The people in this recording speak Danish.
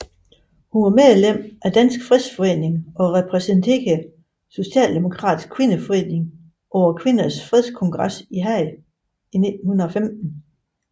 Hun var medlem af Dansk Fredsforening og repræsenterede Socialdemokratisk Kvindeforening på Kvindernes Fredskongres i Haag i 1915